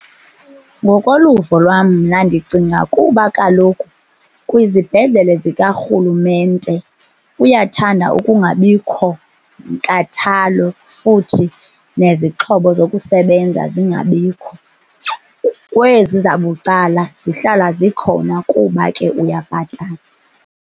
Ngokoluvo lwam mna ndicinga kuba kaloku kwizibhedlele zikarhulumente uyathanda ukungabikho nkathalo futhi nezixhobo zokusebenza zingabikho, kwezi zabucala zihlala zikhona kuba ke uyabhatala.